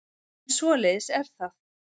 En svoleiðis er það.